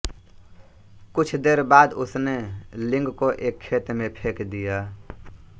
कुछ देर बाद उसने लिंग को एक खेत में फेंक दीया